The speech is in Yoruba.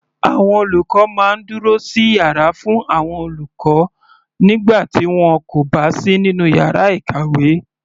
Àwọn olùkọ́ máa ń dúró sí yàrá fún àwọn olùkọ́ nígbà tí wọn kò bá sí nínú yàrá ìkàwé.